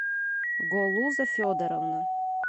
голуза федоровна